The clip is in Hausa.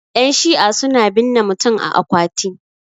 yanshi'a suna binne mutum a akwati